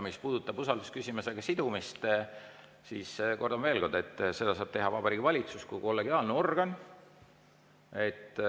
Mis puudutab usaldusküsimusega sidumist, siis kordan veel, et seda saab teha Vabariigi Valitsus kui kollegiaalne organ.